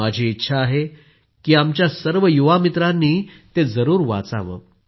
माझी इच्छा आहे की आमच्या सर्व युवामित्रांनी ते जरूर वाचावं